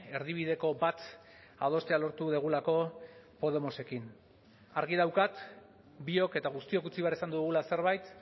erdibideko bat adostea lortu dugulako podemosekin argi daukat biok eta guztiok utzi behar izan dugula zerbait